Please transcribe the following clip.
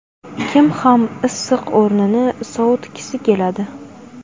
Kim ham issiq o‘rnini sovutgisi keladi?